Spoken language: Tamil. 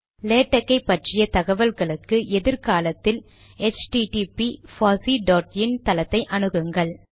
லேடக் ஐ பற்றிய தகவலுக்கு எதிர் காலத்தில் எச்டிடிபி பாசி டாட் இன் தளத்தை அணுகுங்கள்